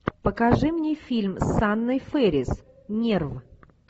покажи мне фильм с анной фэрис нерв